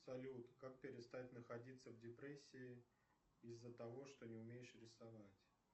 салют как перестать находиться в депрессии из за того что не умеешь рисовать